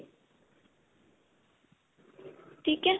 ਠੀਕ ਏ